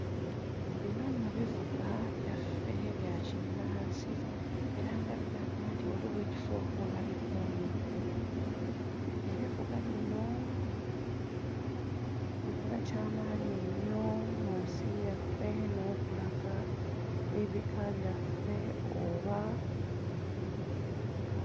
Bino nno bivuga byaffe bya kinnansi era nga biraga nti waliwo ekifo we babikuumidde ebivuga bino bikola kya maanyi nnyo mu nsi yaffe n'okulaga ebika byaffe oba bika.